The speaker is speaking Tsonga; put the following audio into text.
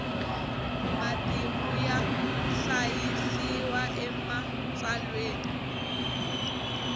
matimu ya hlayisiwa ematsalweni